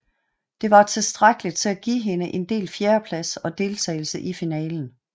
Det var tilstrækkeligt til at give hende en delt fjerdeplads og deltagelse i finalen